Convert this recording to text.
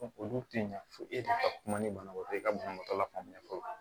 Olu tɛ ɲa fɔ e ka kuma ni banabaatɔ ye ka banabaatɔ la faamuya